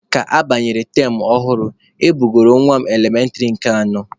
Ka abanyere tam ọhụrụ, e bugoro nwa m elementịrị nke anọ.